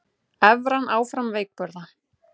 Evran áfram veikburða